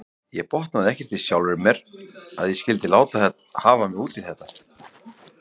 Ég botnaði ekkert í sjálfri mér að ég skyldi láta hafa mig út í þetta.